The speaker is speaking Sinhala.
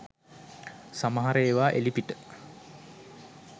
සමහර ඒවා එළිපිට